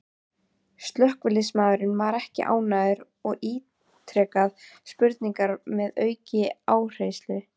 Slökkviliðsmaðurinn var ekki ánægður og ítrekaði spurninguna með aukinn áherslu.